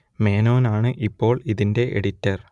മേനോൻ ആണ് ഇപ്പോൾ ഇതിന്റെ എഡിറ്റർ